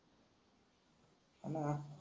हाना